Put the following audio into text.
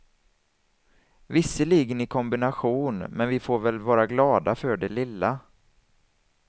Visserligen i kombination, men vi får väl vara glada för det lilla.